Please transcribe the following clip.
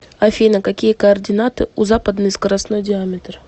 афина какие координаты у западный скоростной диаметр